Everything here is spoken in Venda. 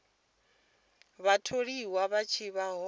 vhatholiwa vha tshi vha hone